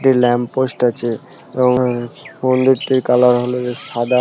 একটি lamp post আছে এবং হ মন্দিরটির কালার হলো গিয়ে সাদা।